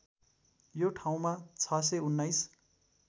यो ठाउँमा ६१९